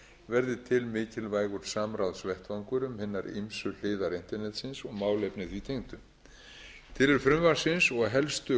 við þennan verði til mikilvægur samráðsvettvangur um hinar ýmsu hliðar internetsins og málefni því tengdu tilurð frumvarpsins og helstu